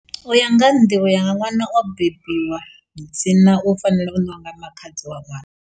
U ya nga ha nḓivho yanga ṅwana o bebiwa, dzina u fanela u ṋeiwa nga makhadzi wa ṅwana.